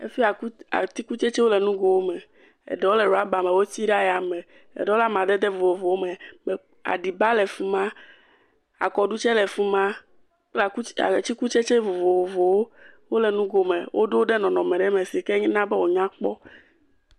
Afi ya, atikutsɛtsɛ le ŋgo wo me. Eɖrwo le rɔba me, woti ɖe aya me. Eɖewo le amadede vovovowo me aɖiba le fima, akɔɖu tsɛ le fima kple atseku, atikutsɛtsɛ vovovowo. Wole nugo me. Woɖo ɖe nɔnɔme ɖe me si ke na be wo nya kpɔ.